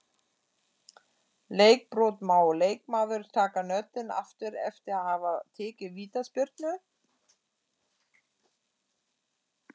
Leikbrot-Má leikmaður taka knöttinn aftur eftir að hafa tekið vítaspyrnu?